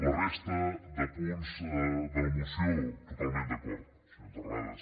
la resta de punts de la moció totalment d’acord senyor terrades